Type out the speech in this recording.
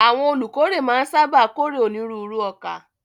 Àwọn olùkórè máa ń sáábà kórè onírúurú ọkà.